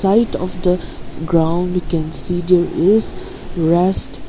light of the ground we can see there is rest--